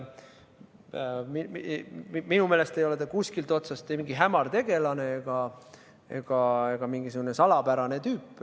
Minu meelest ei ole ta kuskilt otsast ei mingi hämar tegelane ega mingisugune salapärane tüüp.